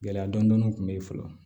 Gɛlɛya dɔɔnin kun be yen fɔlɔ